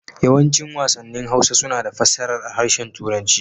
Yawancin wasannin Hausa suna da fassarar a harshen Turanci.